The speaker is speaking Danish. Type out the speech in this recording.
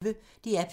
DR P1